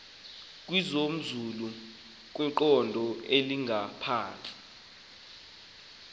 kwimozulu ekwiqondo elingaphantsi